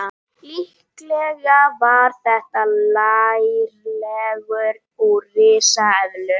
Líklega var þetta lærleggur úr risaeðlu.